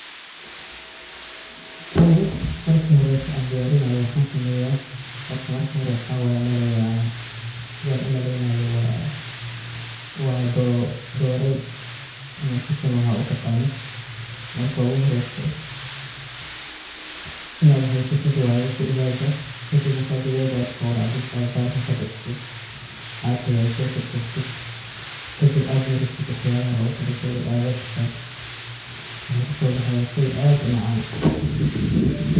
Tani marka horeeto aan diyarinaayo waxaan sameyaa ,horta marka horeto waxaan, sidaan u maleynaayo waa doreey ama chicken waxaad u taqanid. Marka ogu horeyso inaad haysatid waye digaaga, kadib markaa digaaga aad qowracdid aad baalka ka bixisid , aad hagaajisatid ,kadib aad marisid waxyabaha loogu tala gale oo aad dabka sartid ,waxuu kusoo baxayaa shey aad u macaan.